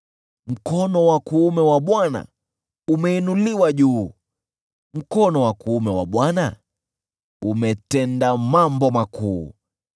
Mkono wa kuume wa Bwana umeinuliwa juu, mkono wa kuume wa Bwana umetenda mambo makuu!”